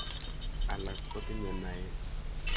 Alak kotinye naet.